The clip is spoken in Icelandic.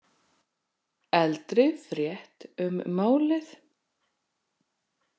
Eldri frétt um málið